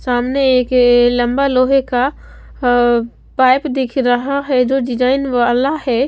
सामने एक ये लंबा लोहे का अ पाइप दिख रहा है जो डिजाइन वाला है।